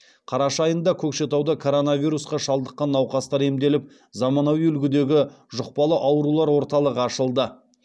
қараша айында көкшетауда коронавирусқа шалдыққан науқастар емделіп замануи үлгідегі жұқпалы аурулар орталығы ашылды